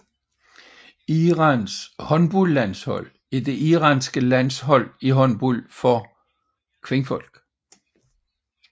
Irans håndboldlandshold er det iranske landshold i håndbold for kvinder